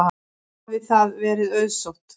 Hafi það verið auðsótt.